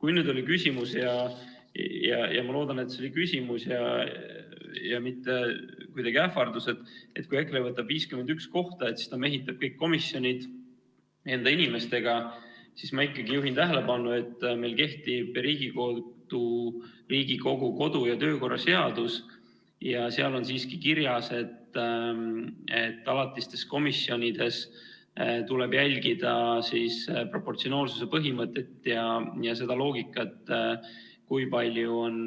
Kui nüüd oli küsimus – ma loodan, et see oli küsimus, mitte kuidagi ähvardus –, et kui EKRE võtab 51 kohta, siis ta mehitab kõik komisjonid enda inimestega, siis ma ikkagi juhin tähelepanu, et meil kehtib Riigikogu kodu- ja töökorra seadus, kus on siiski kirjas, et alatistes komisjonides tuleb jälgida proportsionaalsuse põhimõtet ja seda loogikat, kui palju on